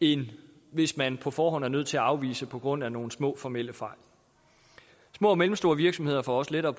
end hvis man på forhånd er nødt til at afvise på grund af nogle små formelle fejl små og mellemstore virksomheder får også lettere